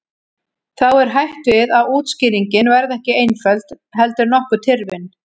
Þá er hætt við að útskýringin verði ekki einföld heldur nokkuð tyrfin.